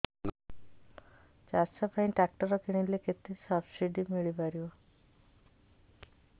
ଚାଷ ପାଇଁ ଟ୍ରାକ୍ଟର କିଣିଲେ କେତେ ସବ୍ସିଡି ମିଳିପାରିବ